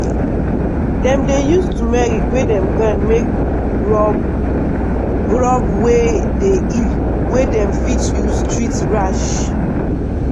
dem dey use turmeric wey dem grind make rub rub wey dey heal wey dem fit use treat rash.